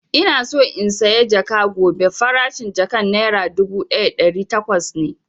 Ina so in saya jaka gobe, farashin jakan nera dubu ɗaya da ɗari takwas ne